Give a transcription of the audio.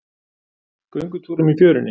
Göngutúrum í fjörunni?